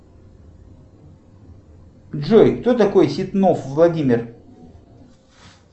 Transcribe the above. джой кто такой ситнов владимир